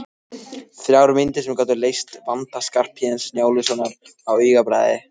Þrjár myndir sem gátu leyst vanda Skarphéðins Njálssonar á augabragði.